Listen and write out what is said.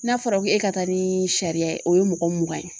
N'a fɔra ko e ka taa ni sariya ye o ye mɔgɔ mugan ye.